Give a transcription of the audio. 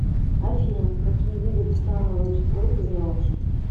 афина какие виды цетановое число ты знаешь